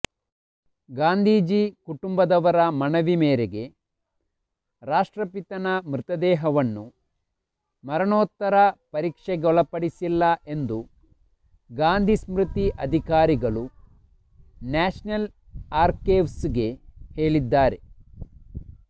ಗಾಂಧೀಜಿ ಕುಟುಂಬದವರ ಮನವಿ ಮೇರೆಗೆ ರಾಷ್ಟ್ರಪಿತನ ಮೃತದೇಹವನ್ನು ಮರಣೋತ್ತರ ಪರೀಕ್ಷೆಗೊಳಪಡಿಸಿಲ್ಲ ಎಂದು ಗಾಂಧಿ ಸ್ಮೃತಿ ಅಧಿಕಾರಿಗಳು ನ್ಯಾಷನಲ್ ಅರ್ಕೈವ್ಸ್ಗೆ ಹೇಳಿದ್ದಾರೆ